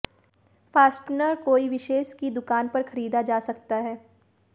fastener कोई विशेष की दुकान पर खरीदा जा सकता है